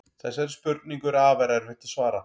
Þessari spurningu er afar erfitt að svara.